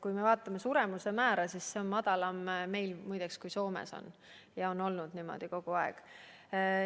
Kui me vaatame suremuse määra, siis see on meil muide madalam kui Soomes, ja see on olnud niimoodi kogu aeg.